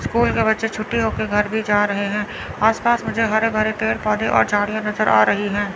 School का बच्चा छुट्टी होकर घर भी जा रहे हैं आस पास मुझे हरे भरे पेड़ पौधे और झाड़ियां नजर आ रही हैं।